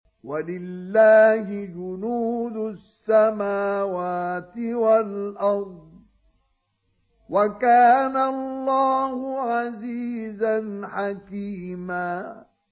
وَلِلَّهِ جُنُودُ السَّمَاوَاتِ وَالْأَرْضِ ۚ وَكَانَ اللَّهُ عَزِيزًا حَكِيمًا